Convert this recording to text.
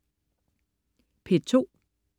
P2: